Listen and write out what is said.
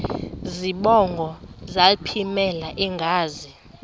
zibongo zazlphllmela engazi